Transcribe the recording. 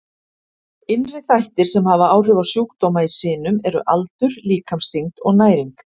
Innri þættir sem hafa áhrif á sjúkdóma í sinum eru aldur, líkamsþyngd og næring.